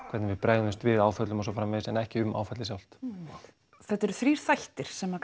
hvernig við bregðumst við áföllum og svo framvegis en ekki um áfallið sjálft þetta eru þrír þættir sem